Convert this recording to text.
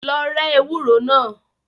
Lọ rẹ́ ewúro náà.